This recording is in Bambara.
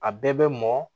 A bɛɛ bɛ mɔ